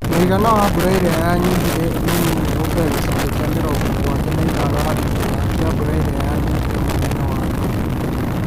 Mu͂igana wa mbura iria cianyihire ni͂ inini gu͂ki͂ra gi͂cunji͂ ki͂a mi͂rongo mu͂gwanja na i͂tano hari͂ igana ki͂a mbura iria cianyihire mweri-ini͂ wa Oktomba.